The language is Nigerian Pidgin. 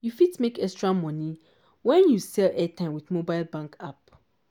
you fit make extra moni wen you sell airtime with mobile banking app.